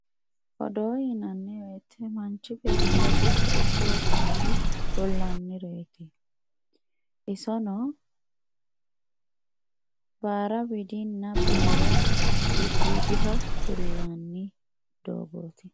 odoo yinanni woyte manchi beettira techo ikke hosunore kullannireeti isono bara widinna baara gidoodiha kullanni doogooti